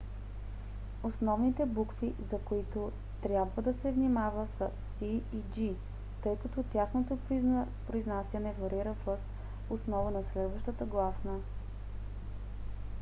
основните букви за които трябва да се внимава са c и g тъй като тяхното произнасяне варира въз основа на следващата гласна